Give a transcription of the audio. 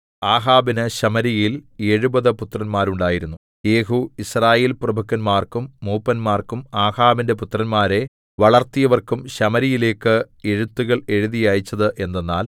ആഹാബിന് ശമര്യയിൽ എഴുപത് പുത്രന്മാർ ഉണ്ടായിരുന്നു യേഹൂ യിസ്രായേൽപ്രഭുക്കന്മാർക്കും മൂപ്പന്മാർക്കും ആഹാബിന്റെ പുത്രന്മാരെ വളർത്തിയവർക്കും ശമര്യയിലേക്ക് എഴുത്തുകൾ എഴുതി അയച്ചത് എന്തെന്നാൽ